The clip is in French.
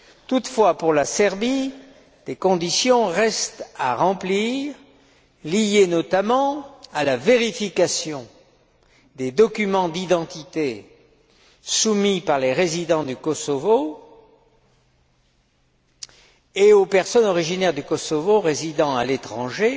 Toutefois, pour la Serbie, des conditions restent à remplir, liées notamment à la vérification des documents d'identité soumis par les résidents du Kosovo et aux personnes originaires du Kosovo résidant à l'étranger